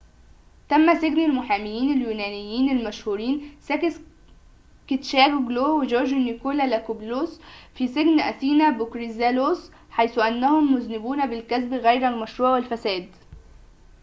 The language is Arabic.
تم سجن المحامين اليونانيين المشهورين ساكيس كيتشاجيوجلو وجورج نيكولاكوبولوس في سجن أثينا بكوريذالوس حيث أنهم مذنبون بالكسب غير المشروع والفساد